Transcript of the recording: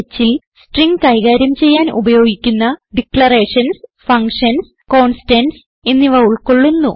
stringhൽ string കൈകാര്യം ചെയ്യാൻ ഉപയോഗിക്കുന്ന ഡിക്ലറേഷൻസ് ഫങ്ഷൻസ് കോൺസ്റ്റന്റ്സ് എന്നിവ ഉൾകൊള്ളുന്നു